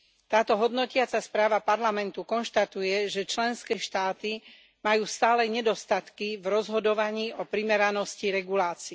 Táto hodnotiaca správa Parlamentu konštatuje, že členské štáty majú stále nedostatky v rozhodovaní o primeranosti regulácií.